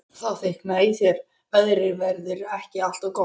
Þá þykknaði í þér: Veðrið verður ekki alltaf gott.